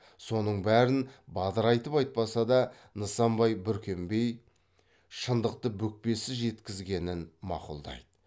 соның бәрін бадырайтып айтпаса да нысанбай бүркембей шындықты бүкпесіз жеткізгенін мақұлдайды